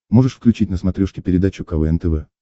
можешь включить на смотрешке передачу квн тв